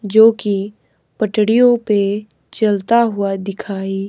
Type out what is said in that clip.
जो कि पटरियों पे चलता हुआ दिखाई--